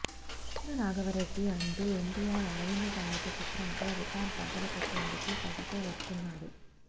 వీర రాఘవ రెడ్డి అంటూ ఎన్టీఆర్ అరవింద సమేత చిత్రం తో రికార్డ్స్ బద్దలు కొట్టేందుకు కసి తో వస్తున్నాడు